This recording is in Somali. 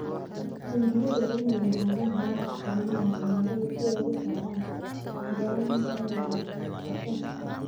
Taangiyada waa inay lahaadaan habab xakamaynta cimilada si ay uga saaraan qoyaanka xad-dhaafka ah.